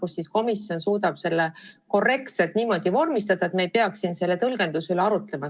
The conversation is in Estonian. Ehk siis komisjon suudab selle korrektselt niimoodi vormistada, et me ei peaks siin saalis selle tõlgenduse üle arutlema.